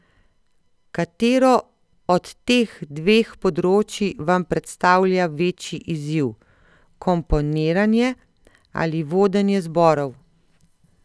Katero od teh dveh področij vam predstavlja večji izziv, komponiranje ali vodenje zborov?